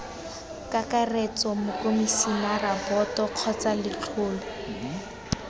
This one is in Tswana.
kakaretso mokomisinara boto kgotsa letlole